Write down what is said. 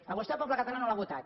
a vostè el poble català no l’ha votat